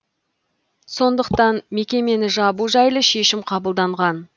сондықтан мекемені жабу жайлы шешім қабылданған